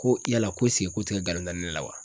Ko yala ko esike ko o te ka galon da ne la wa